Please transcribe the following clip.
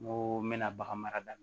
N ko n bɛna bagan mara da